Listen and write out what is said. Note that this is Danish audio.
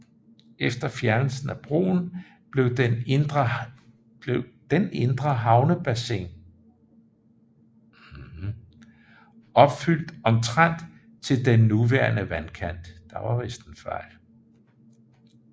Efter fjernelsen af broen blev den indre havnebassin opfylt omtrent til den nuværende vandkant